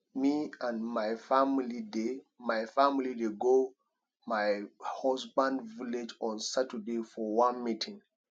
me and my family dey my family dey go my husband village on saturday for one meeting